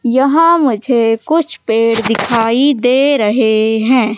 यहां मुझे कुछ पेड़ दिखाई दे रहे हैं।